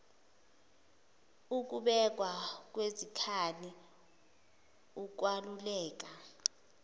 ukubekwa kwezikhali ukwaluleka